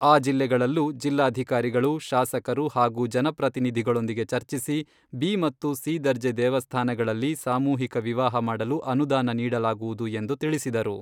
ಆ ಜಿಲ್ಲೆಗಳಲ್ಲೂ ಜಿಲ್ಲಾಧಿಕಾರಿಗಳು, ಶಾಸಕರು ಹಾಗೂ ಜನಪ್ರತಿನಿಧಿಗಳೊಂದಿಗೆ ಚರ್ಚಿಸಿ ಬಿ ಮತ್ತು ಸಿ ದರ್ಜೆ ದೇವಸ್ಥಾನಗಳಲ್ಲಿ ಸಾಮೂಹಿಕ ವಿವಾಹ ಮಾಡಲು ಅನುದಾನ ನೀಡಲಾಗುವುದು ಎಂದು ತಿಳಿಸಿದರು.